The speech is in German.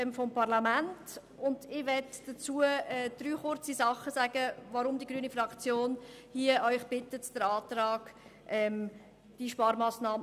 Ich möchte dazu kurz drei Dinge sagen, weshalb die grüne Fraktion Sie bittet, den Antrag zu unterstützen.